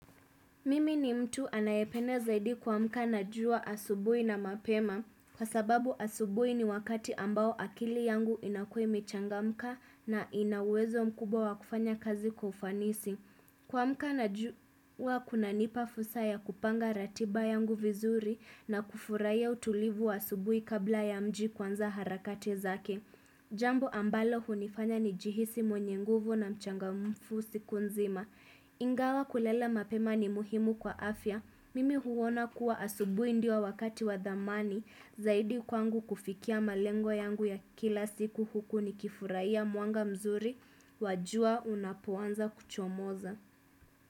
Mimi ni mtu anayepene zaidi kuamka na jua asubuhi na mapema. Kwa sababu asubuhi ni wakati ambao akili yangu inakuwa imechangamka na inauwezo mkubwa wa kufanya kazi kwa ufanisi. Kuamka na jua huwa kunanipa fursa ya kupanga ratiba yangu vizuri na kufurahia utulivu wa asubuhi kabla ya mji kuanza harakati zake. Jambo ambalo hunifanya nijihisi mwenye nguvu na mchangamfu siku nzima Ingawa kulala mapema ni muhimu kwa afya Mimi huona kuwa asubuhi ndio wakati wadhamani Zaidi kwangu kufikia malengo yangu ya kila siku huku ni kifurahia mwanga mzuri wa jua unapuanza kuchomoza.